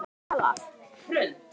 Hver svaf?